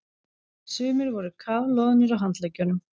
Sumir voru kafloðnir á handleggjunum.